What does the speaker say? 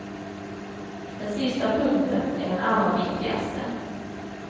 Den sista punkten är den allra viktigaste.